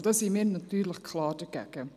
Da sind wir natürlich klar dagegen.